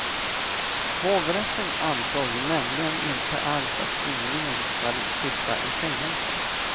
Hovrätten ansåg nämligen inte alls att ynglingen ska sitta i fängelse.